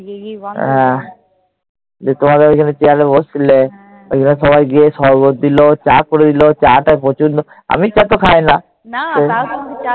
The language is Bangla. হ্যাঁ। তোমাদের ওখানে chair এ বসছিলে। সবাই গিয়ে সরবত দিল। চা করে দিল। চা টা প্রচণ্ড- আমি চা তো খাইনা।